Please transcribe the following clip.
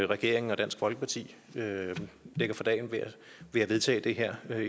regeringen og dansk folkeparti lægger for dagen ved at vedtage det her